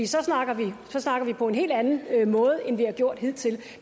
så snakker vi på en helt anden måde end vi har gjort hidtil